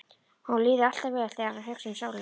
Honum líði alltaf vel þegar hann hugsi um sólina.